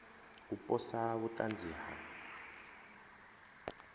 u posa vhut anzi ha